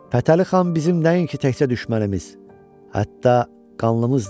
Fətəli xan bizim nəinki təkcə düşmənimiz, hətta qanlımızdır.